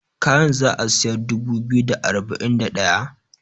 kayan za a siyar dubu biyu da arba'in da daya?